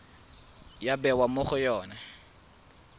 ya bewa mo go yone